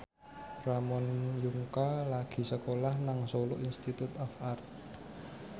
Ramon Yungka lagi sekolah nang Solo Institute of Art